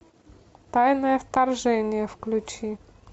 тайное вторжение включи